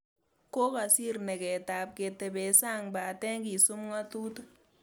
Kokakosir negetab ketebe sang pate kisup ngatutik